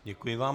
Děkuji vám.